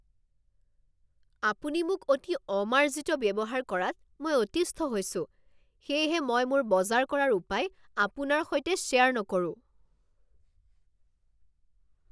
আপুনি মোক অতি অমাৰ্জিত ব্যৱহাৰ কৰাত মই অতিষ্ঠ হৈছোঁ, সেয়েহে মই মোৰ বজাৰ কৰাৰ উপায় আপোনাৰ সৈতে শ্বেয়াৰ নকৰোঁ।